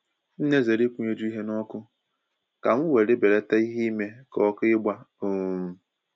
M na-ezere ịkwụnyeju ihe n'ọkụ, ka m were belate ìhè ime ka ọkụ igba um